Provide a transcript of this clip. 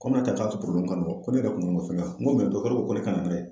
Komi ne ta tun don ko ne yɛrɛ kun ka fɛnga n ko dɔtɔrɔ ko ne ka na n'a ye